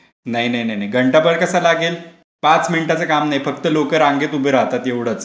नाही नाही नाही. घंटाभर कशाला लागेल. पाच मिनिटाचे काम नाही फक्त लोकं रांगेत उभे राहतात एवढेच.